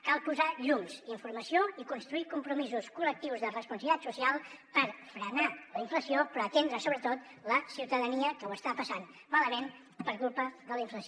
cal posar hi llums informació i construir compromisos col·lectius de responsabilitat social per frenar la inflació però atendre sobretot la ciutadania que ho està passant malament per culpa de la inflació